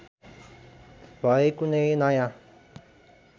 भए कुनै नयाँ